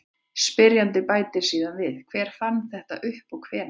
Spyrjandi bætir síðan við: Hver fann þetta upp og hvenær?